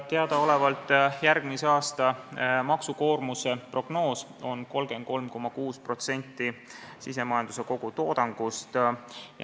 Teadaolevalt on järgmise aasta maksukoormuse prognoos 33,6% SKT-st.